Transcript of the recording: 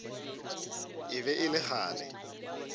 e be e le kgale